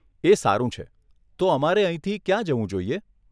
એ સારું છે. તો અમારે અહીંથી ક્યાં જવું જોઈએ?